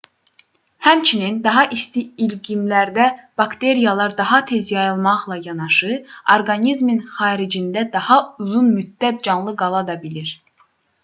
həmçinin daha isti iqlimlərdə bakteriyalar daha tez yayılmaqla yanaşı orqanizmin xaricində daha uzun müddət canlı qala da bilir